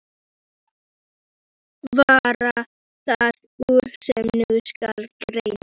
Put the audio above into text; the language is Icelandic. Varð það úr, sem nú skal greina.